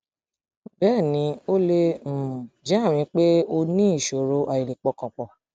bẹẹ ni ó lè um jẹ àmì pé o ní ìṣòro àìlè pọkàn pọ